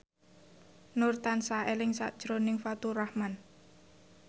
Nur tansah eling sakjroning Faturrahman